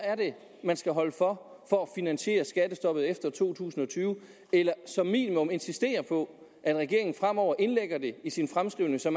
man skal holde for for at finansiere skattestoppet efter to tusind og tyve eller som minimum insistere på at regeringen fremover indlægger det i sin fremskrivning så